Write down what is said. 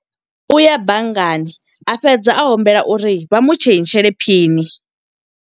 U ya banngani a fhedza a humbela uri vha mutshentshele phini.